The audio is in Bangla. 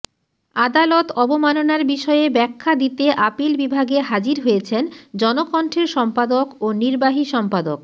আদালত অবমাননার বিষয়ে ব্যাখ্যা দিতে আপিল বিভাগে হাজির হয়েছেন জনকণ্ঠের সম্পাদক ও নির্বাহী সম্পাদক